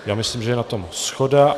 Já myslím, že je na tom shoda.